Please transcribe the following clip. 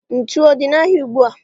Ntụ ọ dị n'ahịa ugbua?